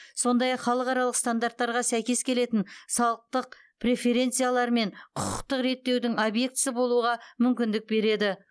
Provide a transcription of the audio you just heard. сондай ақ халықаралық стандарттарға сәйкес келетін салықтық преференциялар мен құқықтық реттеудің объектісі болуға мүмкіндік береді